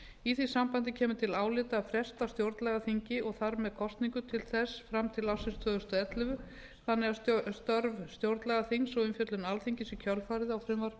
í því sambandi kemur til álita að fresta stjórnlagaþinginu og þar með kosningu til þess fram til ársins tvö þúsund og ellefu þannig að störf stjórnlagaþingsins og umfjöllun alþingis í kjölfarið á frumvarpi til